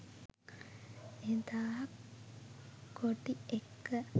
එදා කොටි එක්ක